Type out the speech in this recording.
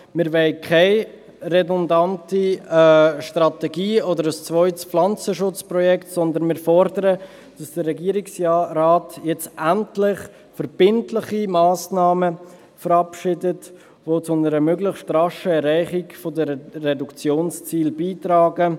Wir wollen keine redundante Strategie oder ein zweites Pflanzenschutzprojekt, sondern wir fordern, dass der Regierungsrat jetzt endlich verbindliche Massnahmen verabschiedet, die zu einem möglichst raschen Erreichen der Reduktionsziele beitragen.